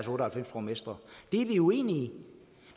og halvfems borgmestre det er vi uenige